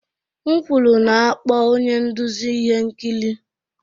M kwuru na-akpọ onye nduzi ihe nkiri!